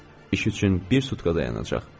İş üçün bir sutka dayanacaq.